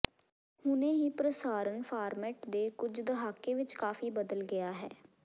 ਹੁਣੇ ਹੀ ਪ੍ਰਸਾਰਣ ਫਾਰਮੈਟ ਦੇ ਕੁਝ ਦਹਾਕੇ ਵਿਚ ਕਾਫ਼ੀ ਬਦਲ ਗਿਆ ਹੈ